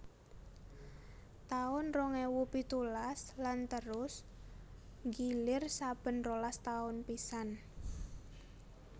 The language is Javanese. taun rong ewu pitulas lan terus nggilir saben rolas taun pisan